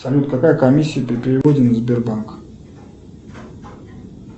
салют какая комиссия при переводе на сбербанк